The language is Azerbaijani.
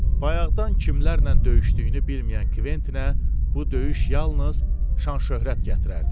Bayaqdan kimlərlə döyüşdüyünü bilməyən Kvettinə bu döyüş yalnız şan-şöhrət gətirərdi.